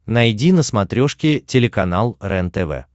найди на смотрешке телеканал рентв